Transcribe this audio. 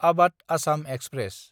आबाध Assam express